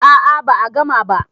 a a ba a gama ba